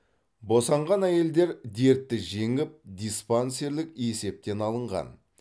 босанған әйелдер дертті жеңіп диспансерлік есептен алынған